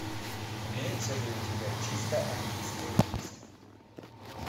имеется ли у тебя чисто английское убийство